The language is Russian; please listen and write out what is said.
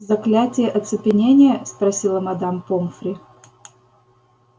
заклятие оцепенения спросила мадам помфри